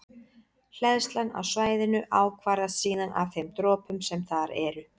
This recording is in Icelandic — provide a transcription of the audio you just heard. Hleðslan á svæðinu ákvarðast síðan af þeim dropum sem þar eru.